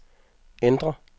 ændr